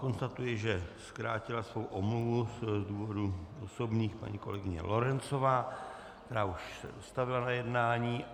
Konstatuji, že zkrátila svou omluvu z důvodu osobních paní kolegyně Lorencová, která už se dostavila na jednání.